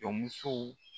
Jɔnmuso